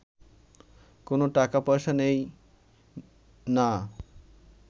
কোনো টাকা-পয়সা নেই না